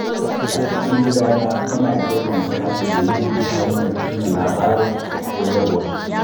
A cikin gidana, muna girmama kakanninmu ta hanyar tuna labaransu da koyarwarsu.